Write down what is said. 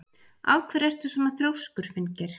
Af hverju ertu svona þrjóskur, Finngeir?